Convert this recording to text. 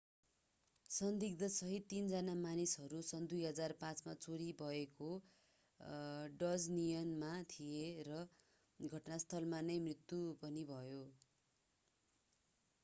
संदिग्ध सहित तीनजना मानिसहरू सन् 2005 मा चोरी भएको डज नियनमा थिए र घटनास्थलमा नै मृत्यु पनि भयो